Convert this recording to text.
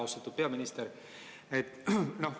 Austatud peaminister!